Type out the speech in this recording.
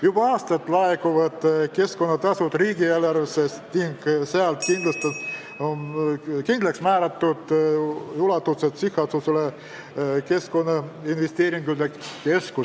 Juba aastaid laekuvad keskkonnatasud riigieelarvesse ning sealt kindlaksmääratud ulatuses sihtasutusele Keskkonnainvesteeringute Keskus.